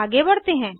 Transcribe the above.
आगे बढ़ते हैं